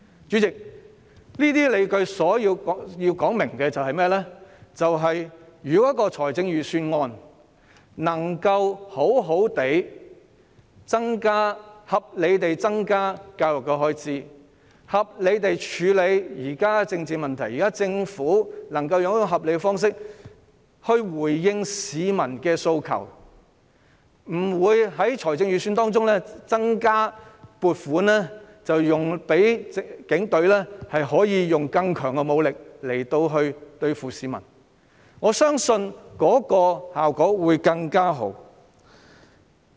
主席，我提出這些理據是要說明，如果預算案能好好地、合理地增加教育開支，並合理地處理現時的政治問題，如果政府能以合理的方式回應市民的訴求，不會在預算案中增加撥款，讓警隊可以使用更強的武力對付市民，我相信效果會更好。